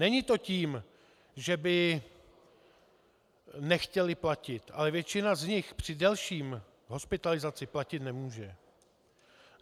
Není to tím, že by nechtěli platit, ale většina z nich při delší hospitalizaci platit nemůže.